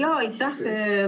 Aitäh!